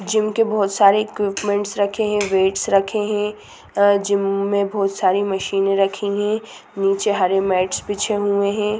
Gym के बहुत सारे इक्विप्मेंन्ट्स रखे हैं वेट्स रखे हैं अ जिम में बहुत सारी मशीनें रखी हैं नीचे हरे मैट्स बिछे हुए हैं।